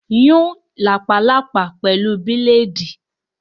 Scratch the ringworm with blade!